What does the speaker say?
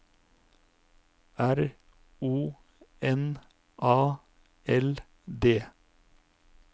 R O N A L D